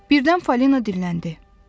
Birdən Falina dilləndi.